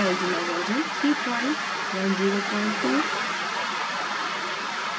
filezilla version 3102